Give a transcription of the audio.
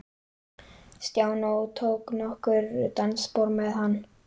Stjána og tók nokkur dansspor með hann.